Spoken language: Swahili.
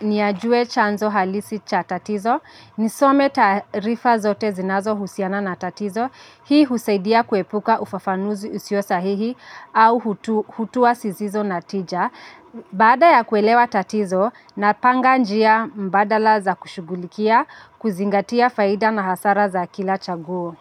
ni ajue chanzo halisi cha tatizo. Nisome taarifa zote zinazo husiana na tatizo. Hii husaidia kuepuka ufafanuzi usio sahihi au hutua sizizo natija. Baada ya kuelewa tatizo, napanga njia mbadala za kushugulikia kuzingatia faida na hasara za kila chaguo.